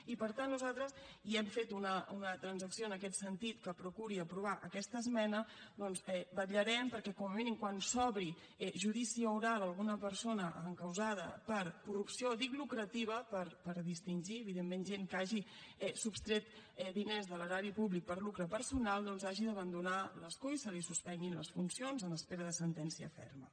i per tant nosaltres hem fet una transacció en aquest sentit que procuri aprovar aquesta esmena i vetllarem perquè com a mínim quan s’obri judici oral a alguna persona encausada per corrupció dic lucrativa per distingir evidentment gent que hagi sostret diners de l’erari públic per a lucre personal doncs hagi d’abandonar l’escó i se li suspenguin les funcions en espera de sentència ferma